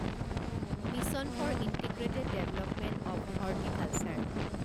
mission for integrated development of horticulture